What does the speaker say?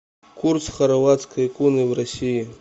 курс хорватской куны в россии